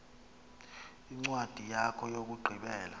incwadi yakho yokugqibela